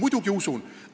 Muidugi usun!